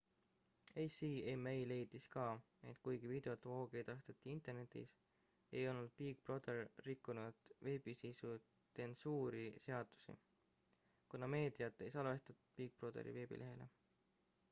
acma leidis ka et kuigi videot voogedastati internetis ei olnud big brother rikkunud veebisisu tsensuuri seadusi kuna meediat ei salvestatud big brotheri veebilehele